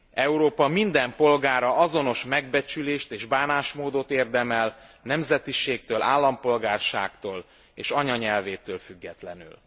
Európa minden polgára azonos megbecsülést és bánásmódot érdemel nemzetiségtől, állampolgárságtól és anyanyelvétől függetlenül.